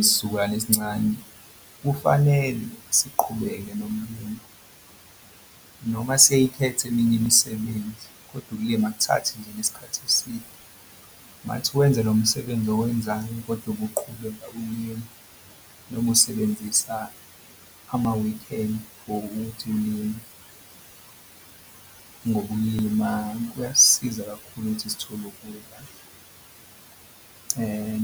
Isizukulwane esincane kufanele siqhubeke noma sey'khete eminye imisebenzi kodwa lingakuthathi nje nesikhathi eside. Ungathi wenza lo msebenzi owenzani kodwa ubuqhubeka ulima noma usebenzisa amawikhendi for ukuthi ulime ngoba ukulima kuyasiza kakhulu ukuthi sithole ukudla